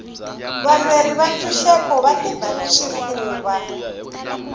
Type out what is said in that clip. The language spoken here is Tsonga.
valweri va ntshuxeko va tiba swifuva